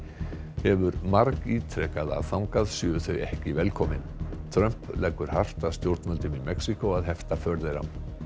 hefur margítrekað að þangað séu þau ekki velkomin Trump leggur hart að stjórnvöldum í Mexíkó að hefta för þeirra